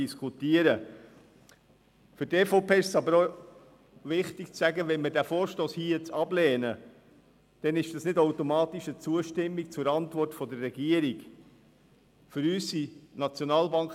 Für die EVP ist es wichtig festzuhalten, dass es nicht automatisch eine Zustimmung zur Antwort der Regierung ist, wenn wir den Vorstoss jetzt ablehnen.